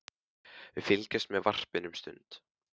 Við fylgjumst með varpinu um stund.